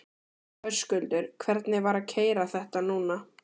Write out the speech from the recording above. Höskuldur: Hvernig var að keyra þetta núna?